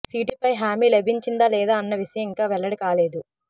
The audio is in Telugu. సీటుపై హామీ లభించిందా లేదా అన్న విషయం ఇంకా వెల్లడి కాలేదు